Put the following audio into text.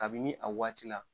Kabini a waati la.